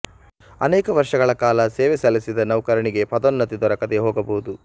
ಅನೇಕ ವರ್ಷಗಳ ಕಾಲ ಸೇವೆ ಸಲ್ಲಿಸಿದ ನೌಕರನಿಗೆ ಪದೋನ್ನತಿ ದೊರಕದೆ ಹೋಗಬಹುದು